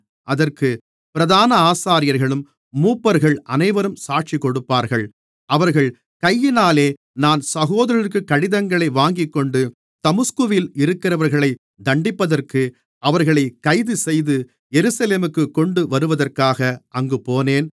அதற்கு பிரதான ஆசாரியர்களும் மூப்பர்கள் அனைவரும் சாட்சிகொடுப்பார்கள் அவர்கள் கையினாலே நான் சகோதரர்களுக்கு கடிதங்களை வாங்கிக்கொண்டு தமஸ்குவில் இருக்கிறவர்களைத் தண்டிப்பதற்கு அவர்களைக் கைதுசெய்து எருசலேமுக்குக் கொண்டு வருவதற்காக அங்குப்போனேன்